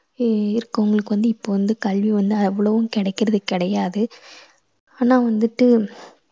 இ~ இருக்கவங்களுக்கு வந்து இப்போ வந்து கல்வி வந்து அவ்வளவும் கிடைக்கறது கிடையாது. ஆனா வந்துட்டு